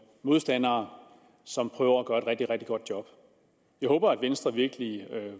modstandere som prøver at gøre et rigtig rigtig godt job jeg håber at venstre virkelig